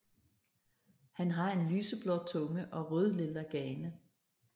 Han har en lyseblå tunge og rødlilla gane